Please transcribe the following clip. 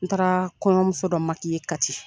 N taara kɔɲɔmuso dɔ Kati